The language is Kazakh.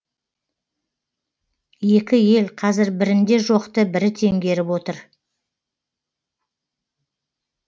екі ел қазір бірінде жоқты бірі теңгеріп отыр